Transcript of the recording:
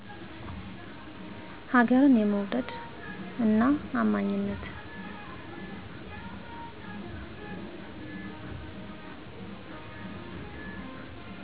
ሀገርን የመዉደድ እና አማኝነትን!